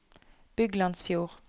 Byglandsfjord